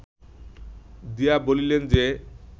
দিয়া বলিলেন যে